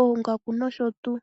oongaku nosho tuu.